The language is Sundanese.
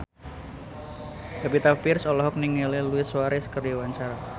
Pevita Pearce olohok ningali Luis Suarez keur diwawancara